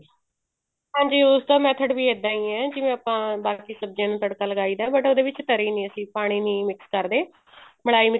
ਹਾਂਜੀ ਉਸਦਾ method ਵੀ ਇੱਦਾਂ ਹੀ ਹੈ ਜਿਵੇਂ ਆਪਾਂ ਬਾਕੀ ਸਬਜੀਆਂ ਨੂੰ ਤੜਕਾ ਲਗਾਈ ਦਾ but ਉਹਦੇ ਵਿੱਚ ਤਰੀ ਨੀ ਪਾਣੀ ਨੀ mix ਕਰਦੇ ਮਲਾਈ